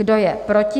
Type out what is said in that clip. Kdo je proti?